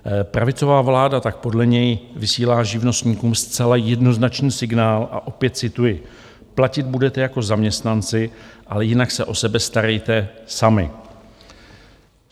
Pravicová vláda tak podle něj vysílá živnostníkům zcela jednoznačný signál a opět cituji: "Platit budete jako zaměstnanci, ale jinak se o sebe starejte sami".